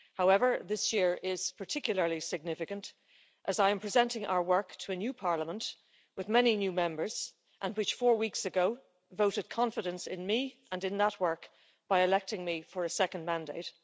However, this year is particularly significant, as I am presenting our work to a new Parliament, with many new Members and which four weeks ago voted confidence in me and in that work by electing me for a second mandate.